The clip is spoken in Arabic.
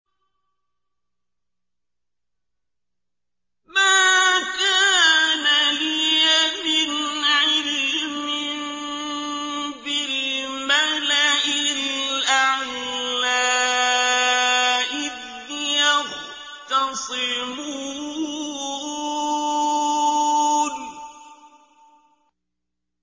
مَا كَانَ لِيَ مِنْ عِلْمٍ بِالْمَلَإِ الْأَعْلَىٰ إِذْ يَخْتَصِمُونَ